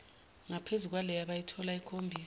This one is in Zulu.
ngaphezukwaleyo abayitholayo ikhombisa